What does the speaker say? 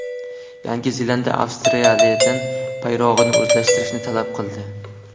Yangi Zelandiya Avstraliyadan bayrog‘ini o‘zgartirishni talab qildi.